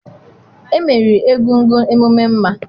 emeriri egúngún emume mma